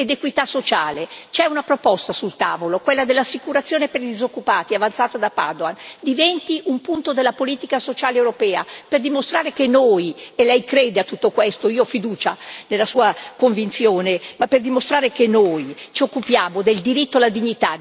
C'è una proposta sul tavolo, quella dell'assicurazione per i disoccupati, avanzata da Padoan diventi un punto della politica sociale europea, per dimostrare che noi e lei crede a tutto questo, io ho fiducia nella sua convinzione ci occupiamo del diritto alla dignità dei cittadini più deboli.